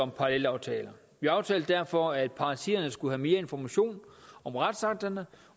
parallelaftaler vi aftalte derfor at partierne skulle have mere information om retsakterne